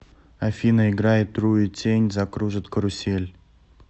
афина играй труетень закружит карусель